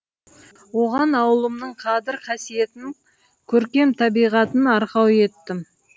оған ауылымның қадір қасиетін көркем табиғатын арқау еттім